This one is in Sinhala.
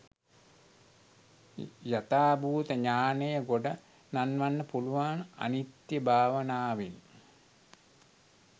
යථාභූත ඥානය ගොඩ නංවන්න පුළුවන් අනිත්‍ය භාවනාවෙන්.